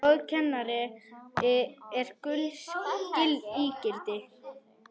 Góður kennari er gulls ígildi.